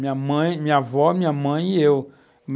Minha mãe, minha avó, minha mãe e eu.